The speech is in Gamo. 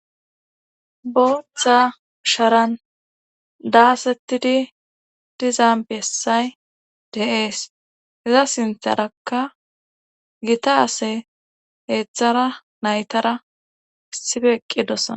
booththa sharan daasettidi diza bessay deees heza sintharaka gita ase heetzthara naytara issife eqqidossana